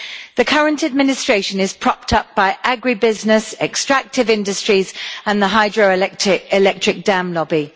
The current administration is propped up by agri business, extractive industries and the hydro electric dam lobby.